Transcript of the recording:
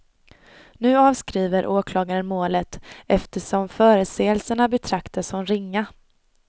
Nu avskriver åklagaren målet, eftersom förseelserna betraktas som ringa.